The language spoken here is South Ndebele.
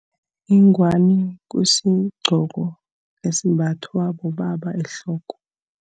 Ingwani kusigqoko esimbathwa bobaba ehloko.